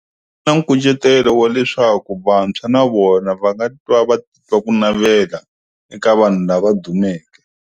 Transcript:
Na nkucetelo wa leswaku vantshwa na vona va nga ti twa va ku navela, eka vanhu lava dumeke.